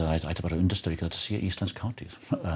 það ætti bara að undirstrika að sé íslensk hátíð